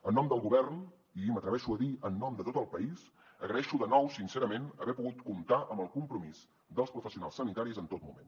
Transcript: en nom del govern i m’atreveixo a dir en nom de tot el país agraeixo de nou sincerament haver pogut comptar amb el compromís dels professionals sanitaris en tot moment